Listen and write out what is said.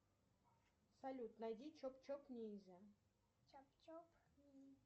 салют найди чоп чоп ниндзя